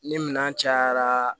Ni minɛn cayara